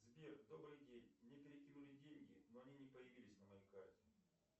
сбер добрый день мне перекинули деньги но они не появились на моей карте